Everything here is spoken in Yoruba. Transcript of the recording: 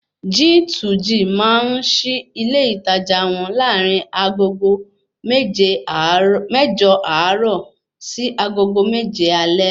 G2G máa ń sí ilé ìtajà wọn larin agogo mẹ́jọ àárọ̀ sí agogo méje alé